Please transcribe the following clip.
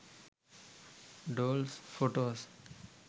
dolls photos